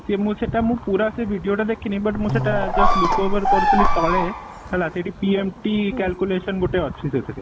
ହଁ ସିଏ ମୁ ସେଇଟା ମୁଁ ପୁରା ସେ video ଟା ଦେଖିନି but ମୁଁ ସେଇଟା just look over କରୁଥିଲି ତଳେ ହେଲା ସେଠି PMT calculation ଗୋଟେ ଅଛି ସେଥିରେ